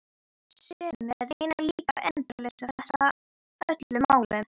Sumir reyna líka endalaust að fresta öllum málum.